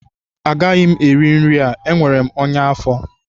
Agaghị m eri nri a enwere m ọnya afọ